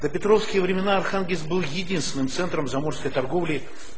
допетровские времена архангельск был единственным центром заморской торговли